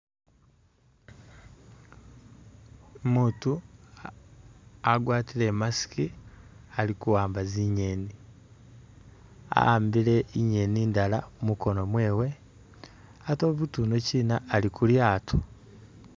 Umuutu agwatile i'mask ali kuwamba zingeeni, a'ambile ingeeni indala mukono mwewe ate umuutu yunokina ali ku lyaato.